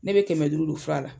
Ne be kɛmɛ duuru don fura la.